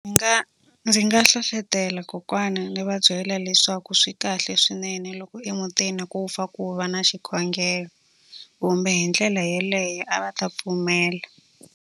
Ndzi nga ndzi nga hlohlotelo kokwana, ndzi va byela leswaku swi kahle swinene loko emutini ku pfa ku va na xikhongelo. Kumbe hi ndlela yeleyo a va ta pfumela.